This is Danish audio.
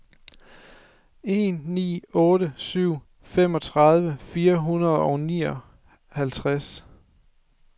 en ni otte syv femogtredive fire hundrede og nioghalvtreds